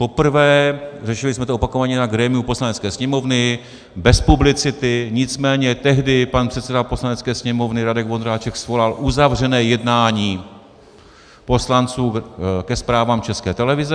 Poprvé - řešili jsme to opakovaně na grémiu Poslanecké sněmovny, bez publicity - nicméně tehdy pan předseda Poslanecké sněmovny Radek Vondráček svolal uzavřené jednání poslanců ke zprávám České televize.